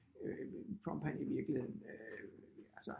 Trump han i virkeligheden altså